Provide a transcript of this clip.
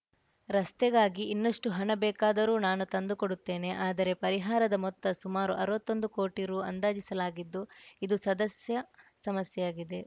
ರಸ್ತೆಗಾಗಿ ಇನ್ನಷ್ಟುಹಣ ಬೇಕಾದರೂ ನಾನು ತಂದು ಕೊಡುತ್ತೇನೆ ಆದರೆ ಪರಿಹಾರದ ಮೊತ್ತ ಸುಮಾರು ಅರ್ವತ್ತೊಂದು ಕೋಟಿ ರು ಅಂದಾಜಿಸಲಾಗಿದ್ದು ಇದು ಸದ್ಯ ಸಮಸ್ಯೆಯಾಗಿದೆ